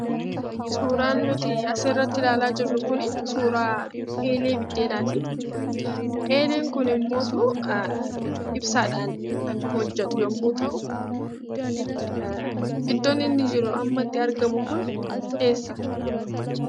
Suuraan nutii asirratti ilaalaa jirru kunii suuraa eelee biddeenaatii. Eeleen kunimmotuu ibsaadhaan kan hojjetu yemmuu ta'u iddoon inni jiru amma itti argamu kun eessa?